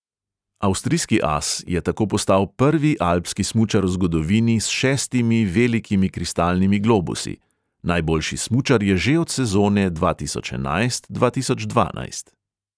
Avstrijski as je tako postal prvi alpski smučar v zgodovini s šestimi velikimi kristalnimi globusi; najboljši smučar je že od sezone dva tisoč enajst dva tisoč dvanajst.